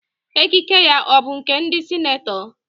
Ekike ya ọ bụ nke ndị senetọ?